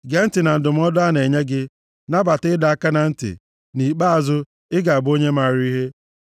Gee ntị na ndụmọdụ a na-enye gị, nabata ịdọ aka na ntị. Nʼikpeazụ, ị ga-abụ onye maara ihe.